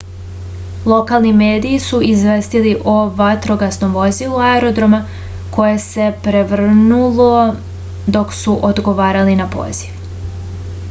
lokalni mediji su izvestili o vatrogasnom vozilu aerodroma koje se prevrnulo dok su odgovarali na poziv